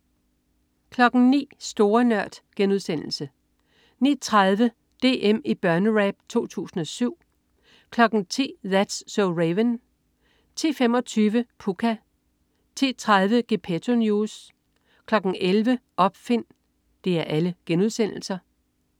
09.00 Store Nørd* 09.30 DM i Børnerap 2007* 10.00 That's so Raven* 10.25 Pucca* 10.30 Gepetto News* 11.00 Opfind*